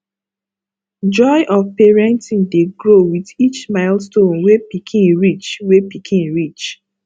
joy of parenting dey grow with each milestone wey pikin reach wey pikin reach